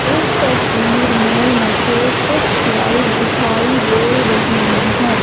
इस तस्वीर में मुझे कुछ लाल दिखाई दे रही है।